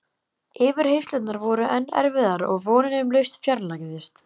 Yfirheyrslurnar voru enn erfiðar og vonin um lausn fjarlægðist.